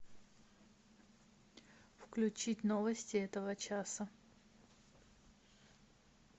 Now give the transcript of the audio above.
включить новости этого часа